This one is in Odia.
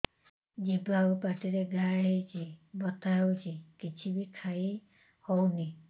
ଜିଭ ଆଉ ପାଟିରେ ଘା ହେଇକି ବଥା ହେଉଛି କିଛି ବି ଖାଇହଉନି